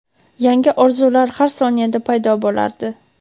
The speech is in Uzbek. yangi orzular har soniyada paydo bo‘lardi.